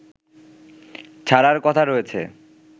ছাড়ার কথা রয়েছে